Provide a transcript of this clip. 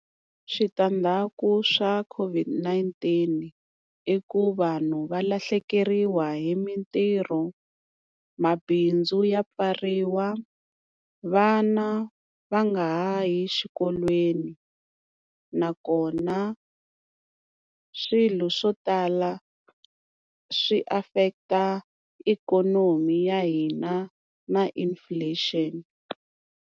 Switandzhaku swa COVID-19 i ku vanhu va lahlekeriwa hi mintirho, mabindzu ya pfariwa, vana va nga ha yi xikolweni, nakona swilo swo tala swi affect-a ikhonomi ya hina na inflation.